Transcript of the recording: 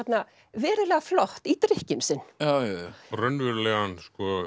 verulega flott í drykkinn sinn raunverulegan